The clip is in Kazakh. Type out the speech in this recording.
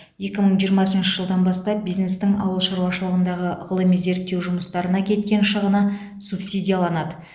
екі мың жиырмасыншы жылдан бастап бизнестің ауыл шаруашылығындағы ғылыми зерттеу жұмыстарына кеткен шығыны субсидияланады